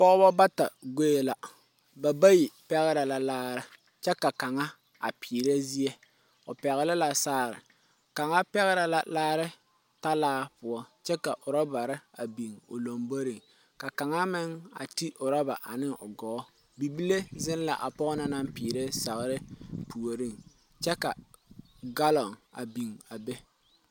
Pɔgeba bata goi la, ba bayi pɛgere la laare kyɛ ka kaŋa a peere zie, o pɛgeli la saare kaŋa pɛgere la laare talaapoɔ kyɛ ka ɔrobare a biŋ o lomboriŋ, ka kaŋa meŋ a ti ɔroba ane o gɔɔ, bibile zeŋ la a pɔge na naŋ peere sagere puoriŋ kyɛ ka galoŋ a biŋ a be.